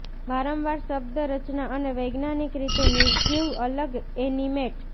વારંવાર શબ્દ રચના અને વૈજ્ઞાનિક રીતે નિર્જીવ અલગ એનિમેટ